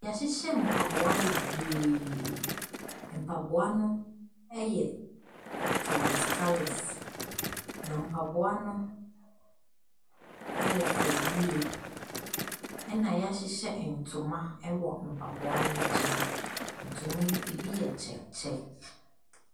Yɛahyehyɛ mpaboa bebree. Mpaboa no yɛ colours colours, na mpaboa no yɛ fɛ yie, na yɛahyehyɛ ntoma wɔ mpaboa ne nkyɛn. Na ntoma no, ɛbi yɛ check check.